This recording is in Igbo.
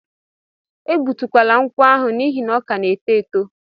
E gbutukwala nkwụ ahụ n'ihi na ọ ka na-eto eto!